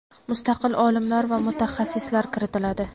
mustaqil olimlar va mutaxassislar kiritiladi.